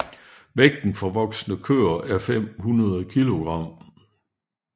Vægten for voksne køer er 500 kilogram